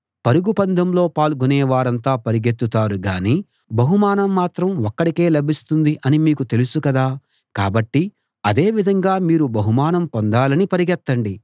పరుగు పందెంలో పాల్గొనే వారంతా పరిగెత్తుతారు గాని బహుమానం మాత్రం ఒక్కడికే లభిస్తుంది అని మీకు తెలుసు కదా కాబట్టి అదేవిధంగా మీరు బహుమానం పొందాలని పరుగెత్తండి